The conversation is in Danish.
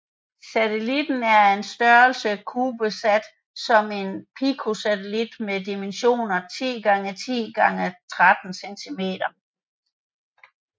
Satelliten er af størrelsen cubesat som er en picosatellit med dimensionerne 10x10x13 cm